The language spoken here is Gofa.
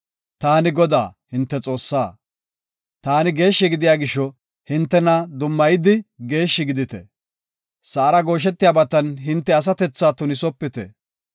Taani Godaa, hinte Xoossaa. Taani geeshshi gidiya gisho, hintena dummayidi geeshshi gidite. Sa7ara gooshetiyabatan hinte asatethaa tunisopite.